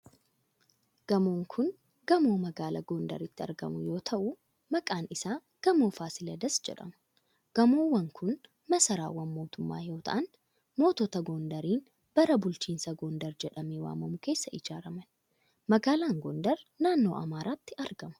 Gamoon kun gamoo magaalaa Gondaritti argamu yoo ta'u, maqaan isaa Gamoo Fasiladas jedhama. Gamoowwan kun masaraawwan mootummaa yoo ta'an, mootota Gondariin bara bulchiinsaa gondar jedhamee waamamu keessa ijaaraman. Magaalaan Gondar naannoo Amaaraatti argama.